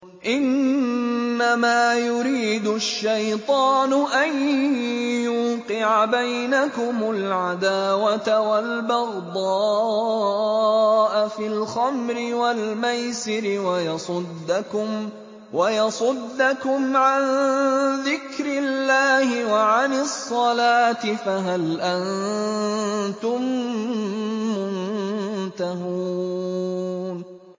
إِنَّمَا يُرِيدُ الشَّيْطَانُ أَن يُوقِعَ بَيْنَكُمُ الْعَدَاوَةَ وَالْبَغْضَاءَ فِي الْخَمْرِ وَالْمَيْسِرِ وَيَصُدَّكُمْ عَن ذِكْرِ اللَّهِ وَعَنِ الصَّلَاةِ ۖ فَهَلْ أَنتُم مُّنتَهُونَ